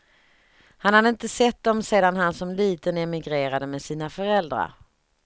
Han hade inte sett dem sedan han som liten emigrerade med sina föräldrar.